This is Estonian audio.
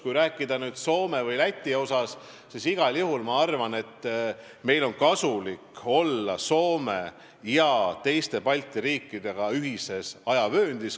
Kui rääkida Soomest ja Lätist, siis igal juhul ma arvan, et meil on kasulik olla teiste Balti riikide ja Soomega ühes ajavööndis.